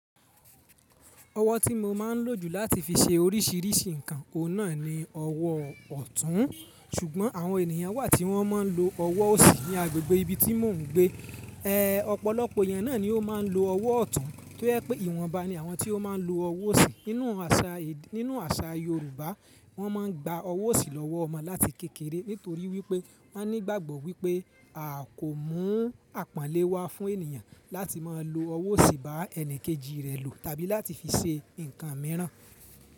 Ọwọ́ tí mo máa ń lò jù láti fi ṣe oríṣìíríṣìí nǹkan, ọ̀nà ni ọwọ́ ọ̀tún. Ṣùgbọ́n àwọn ènìyàn wà tí wọ́n máa ń lo ọwọ́ òsì ní agbègbè ibi tí mò ń gbé. Ee, ọ̀pọ̀lọpọ̀ eyan náà ni ó máa ń lo ọwọ́ ọ̀tún. Tó jẹ́ pé ìwọ̀nba ni àwọn tí ó máa ń lo ọwọ́ òsì. Nínú àṣà Yorùbá, wọ́n máa ń gba ọwọ́ òsì lọ́wọ́ ọmọ láti kékeré nítorí wípé wọ́n ní ìgbàgbọ́ wípé a kò mú àpọ́nlé wa fún ènìyàn láti máa lo ọwọ́ òsì bá ẹni kejì rẹ̀ lo tàbí láti fi ṣe nǹkan mìíràn.